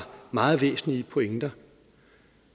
meget væsentlige pointer